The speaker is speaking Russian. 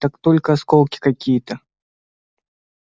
так только осколки какие-то